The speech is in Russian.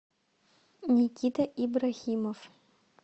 никита ибрахимов